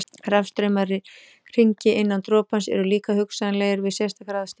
Rafstraumar í hringi innan dropans eru líka hugsanlegir við sérstakar aðstæður.